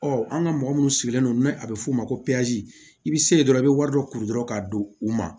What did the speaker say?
Ɔ an ka mɔgɔ minnu sigilen don a bɛ f'o ma ko i bɛ se dɔrɔn i bɛ wari dɔ kuru dɔrɔn ka don u ma